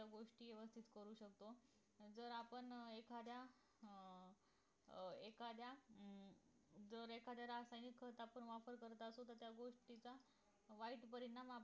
त्या गोष्टी व्यवस्थित करू शकतो जर आपण एखाद्या अं एखाद्या अं जर एखाद्या रासायनिक खताप्रमाणे त्याच गोष्टीचा वाईट परिणाम आपण